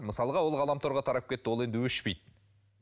мысалға ол ғаламторға тарап кетті ол енді өшпейді